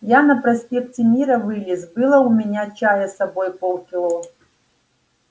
я на проспекте мира вылез было у меня чая с собой полкило